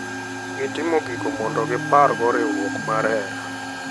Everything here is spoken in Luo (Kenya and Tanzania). Gitimo gigo mondo gipar go riwruok mar johera.